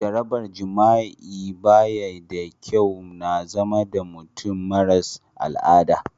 Jarabar jima'i ba yi da kyau, ya na zama da mutum marasa al'ada.